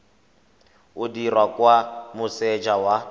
o dirwa kwa moseja wa